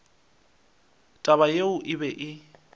taba yeo e be e